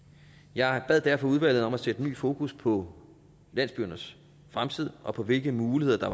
jeg bad derfor udvalget om at sætte ny fokus på landsbyernes fremtid og på hvilke muligheder der